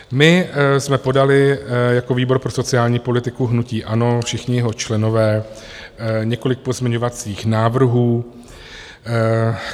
My jsme podali jako výbor pro sociální politiku hnutí ANO, všichni jeho členové, několik pozměňovacích návrhů.